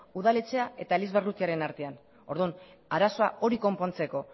udaletxea eta eliz barrutiaren artean orduan arazoa hori konpontzeko